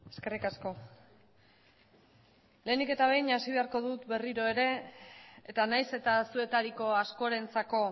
eskerrik asko lehenik eta behin hasi beharko dut berriro ere eta nahiz eta zuetariko askorentzako